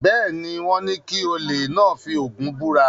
Bẹ́ẹ̀ ni, wọ́n ní kí olè náà fi Ògún búra.